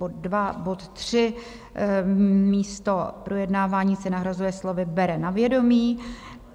Bod tři - místo "projednávání" se nahrazuje slovy "bere na vědomí".